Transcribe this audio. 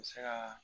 N bɛ se ka